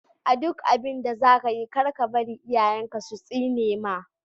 A duk abinda zakayi kar kabar iyayen ka su tsinema.